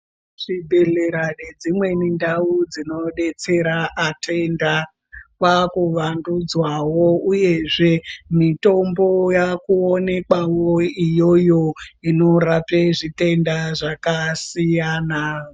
Zvibhedhlera nedzimweni ndau dzinodetsera atenda kwakuvandudzwawo uyezve mitombo yaakuonekwawo iyoyo inorape zvitenda zvakasiyana.